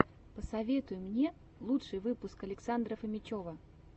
посоветуй мне лучший выпуск александра фомичева